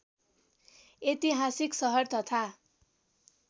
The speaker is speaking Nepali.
ऐतिहासिक सहर तथा